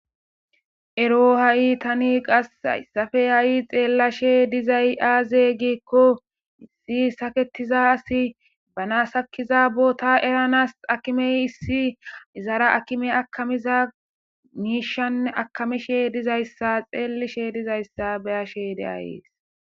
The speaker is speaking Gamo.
Erro hayi tani hayisan xelashe dizayi aze giko issi saketida asi bana sakida botta erranasi akime issi hara akimeyiakamishe dizayis xelishin beyashene dizayisa hayisani beyasi